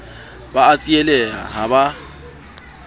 ba a tsieleha ha ba